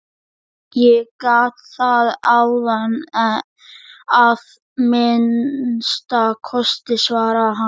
Ég gat það áðan að minnsta kosti, svaraði hann.